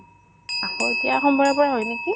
আকৌ এতিয়া সোমবাৰৰ পৰা হয় নেকি